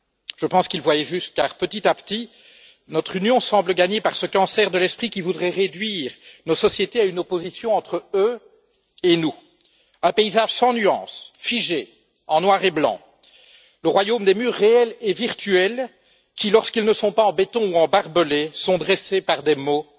Je pense qu'ils voyaient juste car, petit à petit, notre Union semble gagnée par ce cancer de l'esprit, qui voudrait réduire nos sociétés à une opposition entre eux et nous, tel un paysage sans nuances, figé, en noir et blanc, le royaume des murs réels et virtuels qui, lorsqu'ils ne sont pas en béton ou en barbelés, sont dressés par des mots